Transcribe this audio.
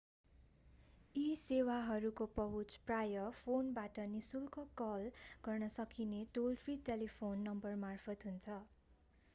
यी सेवाहरूको पहुँच प्रायः फोनबाट नि:शुल्क कल गर्न सकिने टोल-फ्रि टेलिफोन नम्बरमार्फत हुन्छ।